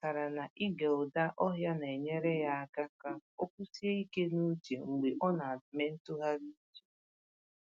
Ọ chọtara na ịge ụda ọhịa na-enyere ya aka ka o kwụsie ike n’uche mgbe ọ na-eme ntụgharị uche.